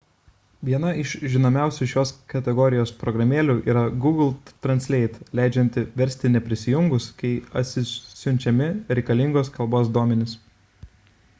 viena iš žinomiausių šios kategorijos programėlių yra google translate leidžianti versti neprisijungus kai atsisiunčiami reikalingos kalbos duomenys